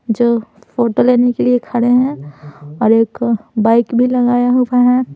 जो फोटो लेने के लिए खड़े हैं और एक बाइक भी लगाया हुआ है।